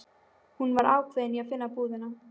Hún var ákveðin í að finna búðina.